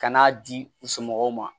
Ka n'a di u somɔgɔw ma